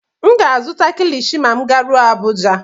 M ga-azụta Kilichi ma m garuo Abuja.